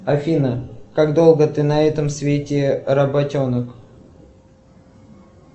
афина как долго ты на этом свете работенок